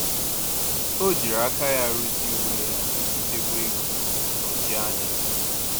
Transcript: O jiri aka ya ruzie uwe ya iji chekwaa ego na nnọchi anya.